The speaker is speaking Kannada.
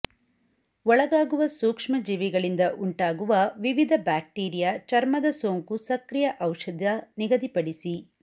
ಒಳಗಾಗುವ ಸೂಕ್ಷ್ಮಜೀವಿಗಳಿಂದ ಉಂಟಾಗುವ ವಿವಿಧ ಬ್ಯಾಕ್ಟೀರಿಯಾ ಚರ್ಮದ ಸೋಂಕು ಸಕ್ರಿಯ ಔಷಧ ನಿಗದಿಪಡಿಸಿ